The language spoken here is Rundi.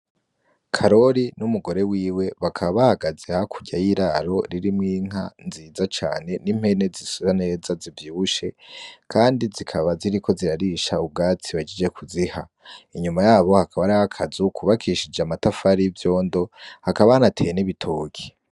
Karori n'umugore wiwe bakabahagaze hakurya y'iraro ririmwo inka nziza cane n'impene zisura neza zivyibushe kandi zikabaziriko zirarisha ubwatsi bahejeje kuziha inyuma yabo hakaba hariho akazu kubakishije amatafari y' ivyondo hakaba hanateye n'ibitoke.